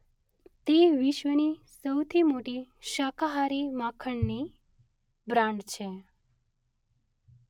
તે વિશ્વની સૌથી મોટી શાકાહારી માખણની બ્રાન્ડ છે.